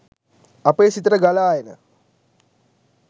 අපේ සිතට ගලා එන